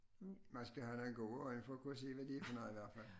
Man skal have nogen gode øjne for at kunne se hvornår de går ned i hvert fald